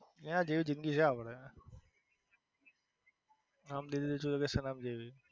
એના જેવી જિંદગી છે આપડે. હમ દિલ દે ચુકે સનમ જેવી.